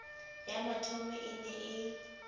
ya mathomo e ne e